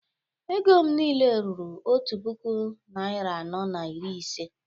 Ego m niile ruru otu puku naịra anọ na iri ise